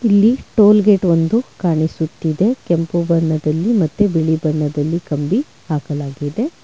ಇಲ್ಲಿ toll gate ಒಂದು ಕಾಣಿಸುತ್ತಿದೆ ಕೆಂಪು ಬಣ್ಣದಲ್ಲಿ ಮತ್ತು ಬಿಳಿ ಬಣ್ಣದಲ್ಲಿ ಕಂಬಿ ಹಾಕಲಾಗಿದೆ.